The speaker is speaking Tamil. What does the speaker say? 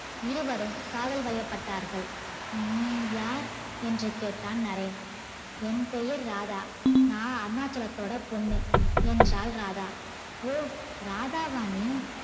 இருவரும் காதல் வயபட்டார்கள் நீ யார் என்று கேட்டான் நரேன் என் பெயர் ராதா நா அருணாச்சலத்தோட பொண்ணு என்றால் ராதா ஓ ராதாவா நீ